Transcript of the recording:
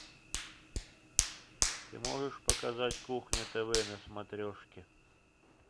ты можешь показать кухня тв на смотрешке